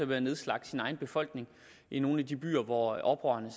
med at nedslagte sin egen befolkning i nogle af de byer hvor oprørerne